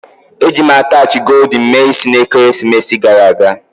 Eji m attachị goldin mee isi na ekeresimesi gara aga